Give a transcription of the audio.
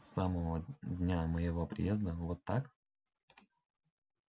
с самого дня моего приезда вот так